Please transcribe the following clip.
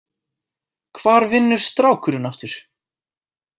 Hvar vinnur strákurinn aftur?